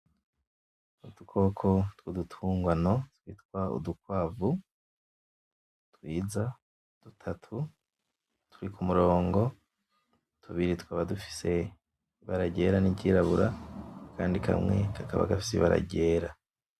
Udukoko twudutungwano twitwa Udukwavu twiza dutatu turi kumorongo, tubiri tukaba dufise ibara ryera niryirabura, akandi kamwe kakaba gafise ibara ryera.